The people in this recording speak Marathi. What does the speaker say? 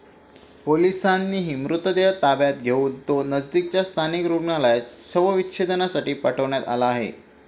पोलिसांनी मृतदेह ताब्यात घेऊन तो नजिकच्या स्थानिक रुग्णालयात शवविच्छेदनासाठी पाठवण्यात आला आहे.